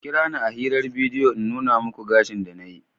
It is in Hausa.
Ku kira ni a hirar bidiyo bari in nuna muku gashin da na yi.